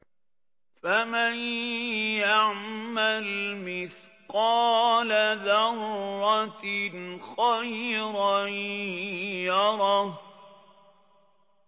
فَمَن يَعْمَلْ مِثْقَالَ ذَرَّةٍ خَيْرًا يَرَهُ